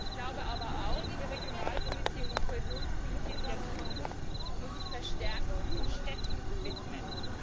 Ich glaube aber auch, die Regionalpolitik und Kohäsionspolitik der Zukunft muss sich verstärkt den Städten widmen.